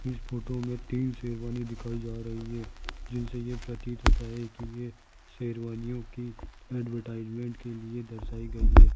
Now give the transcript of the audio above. इस फोटो मे तीन शेरवानी दिखाई जा रही है जिनसे ये प्रतीत होता है कि यह शेरवानियों की एडवरटाइजमेंट के लिए दर्शायी गई है।